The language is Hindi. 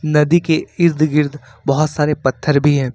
नदी के इर्द गिर्द बहुत सारे पत्थर भी हैं।